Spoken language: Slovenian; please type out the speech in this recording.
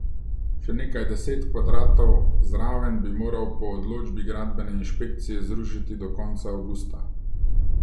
Še nekaj deset kvadratov zraven bi moral po odločbi gradbene inšpekcije zrušiti do konca avgusta.